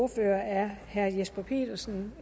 ordfører er herre jesper petersen